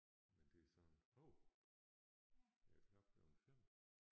Men det er sådan hov er klokken blevet 5?